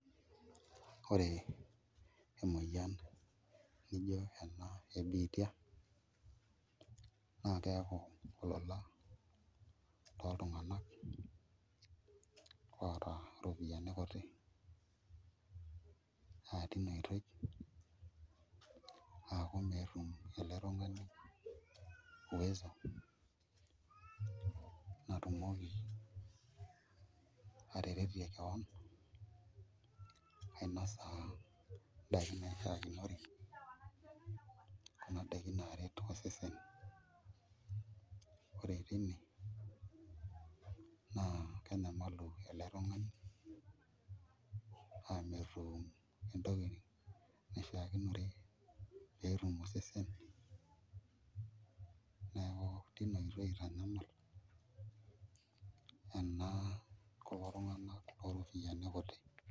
Ore emoyian nijio ena e biitia naa keeku olola toltung'abak oota iropiyiani kuti naa tena oitoi aaku meetum ele tung'ani uwezo natumoki ataretie kewon ainasa ndaiki naishiakinore kuna daiki naaret osesen, ore tine naa kenyamalu ele tung'ani aa metum entoki naishiakinore pee etum osesen neeku tina oitoi itanyamal ena kulon tung'anak looropiyiani kuti.